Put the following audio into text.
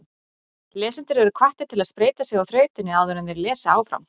Lesendur eru hvattir til að spreyta sig á þrautinni áður en þeir lesa áfram.